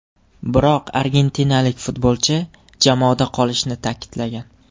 Biroq argentinalik futbolchi jamoada qolishini ta’kidlagan.